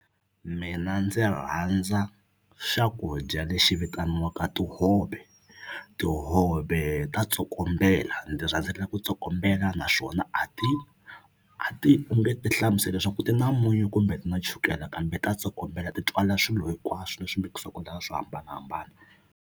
Mina ndzi rhandza swakudya lexi vitaniwaka tihove tihove ta tsokombela ndzi rhandza ku tsokombela naswona a ti a ti u nge ti hlamuseli leswaku ti na munyu kumbe ti na chukela kambe ta tsokombela ti twala swilo hinkwaswo leswi mikisiwaku la swo hambanahambana.